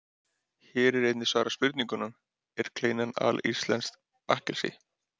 Hér er einnig svarað spurningunum: Er kleinan alíslenskt bakkelsi?